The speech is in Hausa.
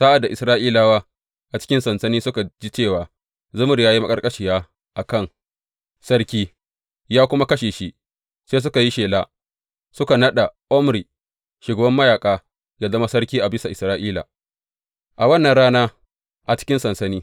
Sa’ad da Isra’ilawa a cikin sansani suka ji cewa Zimri ya yi maƙarƙashiya a kan sarki, ya kuma kashe shi, sai suka yi shela, suka naɗa Omri, shugaban mayaƙa ya zama sarki a bisa Isra’ila, a wannan rana a cikin sansani.